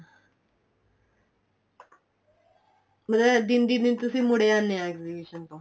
ਮਤਲਬ ਦਿਨ ਦਿਨ ਤੋਂ ਤੁਸੀਂ ਮੁੜੇ ਆਂਦੇ ਹੋ exhibition ਚੋ